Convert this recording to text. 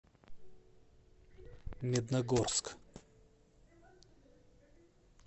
медногорск